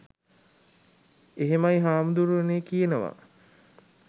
එහෙමයි හාමුදුරුවනේ කියනවා.